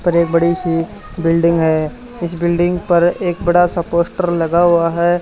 पर एक बड़ी सी बिल्डिंग हैं इस बिल्डिंग पर एक बड़ा सा पोस्टर लगा हुआ हैं।